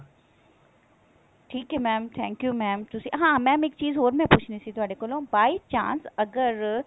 ਠੀਕ ਹੈ mam thank you mam ਹਾਂ mam ਇੱਕ ਚੀਜ਼ ਹੋਰ ਮੈਂ ਪੁੱਛਣੀ ਸੀ ਤੁਹਾਡੇ ਕੋਲੋ by chance ਅਗਰ